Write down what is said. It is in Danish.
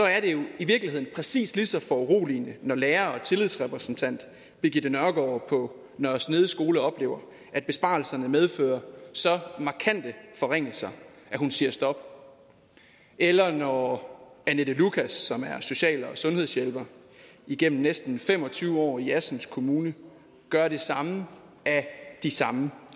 er det jo i virkeligheden præcis lige så foruroligende når lærer og tillidsrepræsentant birgitte nørgaard på nørre snede skole oplever at besparelserne medfører så markante forringelser at hun siger stop eller når annette lukas som er social og sundhedshjælper igennem næsten fem og tyve år i assens kommune gør det samme af de samme